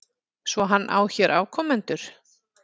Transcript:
Svo hann á hér afkomendur?